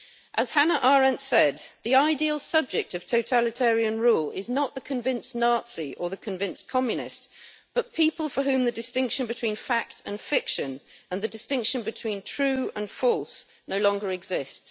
As Hannah Arendt said, The ideal subject of totalitarian rule is not the convinced Nazi or the convinced Communist, but people for whom the distinction between fact and fiction and the distinction between true and false no longer exist'.